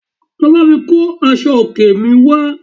Lọ bámi kó aṣọ òkè mi wá